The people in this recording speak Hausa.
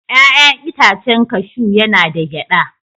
Ya'yan itacen kashu yana da gyada.